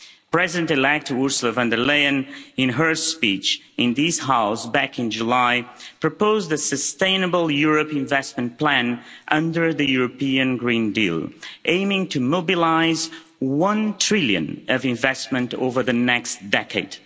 President elect Ursula von der Leyen, in her speech in this House back in July, proposed a sustainable Europe investment plan under the European Green Deal, aiming to mobilise one trillion of investment over the next decade.